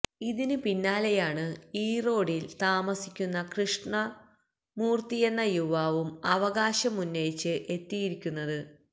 ഇതിന് പിന്നാലെയാണ് ഇറോഡില് താമസിക്കുന്ന കൃഷ്ണൂര്ത്തിയെന്ന യുവാവും അവകാശമുന്നയിച്ച് എത്തിയിരിക്കുന്നത്